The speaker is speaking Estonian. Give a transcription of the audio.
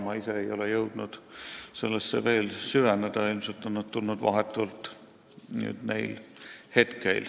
Ma ei ole veel jõudnud oma kirjavahetusse süveneda, ilmselt on see vastus tulnud vahetult enne istungit.